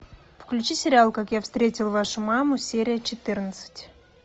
включи сериал как я встретил вашу маму серия четырнадцать